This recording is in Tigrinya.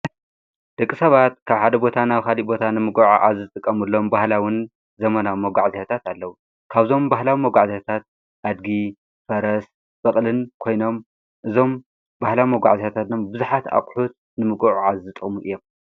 ድቂ ሰባት ካብ ሓደ ቦታ ናብ ኻዲ ቦታ ንምግዖ ዓ ዝጥቀሙሎም ባህላውን ዘመናዊ መጕዕ ዚኅታት ኣለዉ ካብዞም ባህላዊ መጕዕዘያታት ኣድጊ ፈረስ በቕልን ኮይኖም እዞም በሕላም መጓዕ ዝኅታት ና ብዙኃት ኣቝሒት ንምግዑ ዓዝጠሙ እዪም።